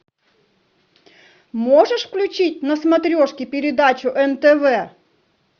можешь включить на смотрешке передачу нтв